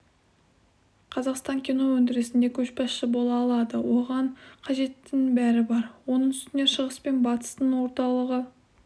қазақстан кино өндірісінде көшбасшы бола алады оған қажеттінің бәрі бар оның үстіне шығыс пен батыстың орталығы